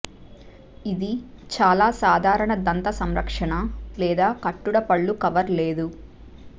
ఇది చాలా సాధారణ దంత సంరక్షణ లేదా కట్టుడు పళ్ళు కవర్ లేదు